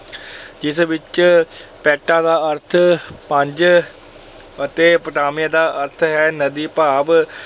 ਜਿਸ ਵਿਚ ਪੈਂਟਾ ਦਾ ਅਰਥ -ਪੰਜ ਅਤੇ ਪੋਟਾਮੀਆ ਦਾ ਅਰਥ ਹੈ ਨਦੀ, ਭਾਵ